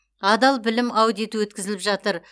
адал білім аудиті өткізіліп жатыр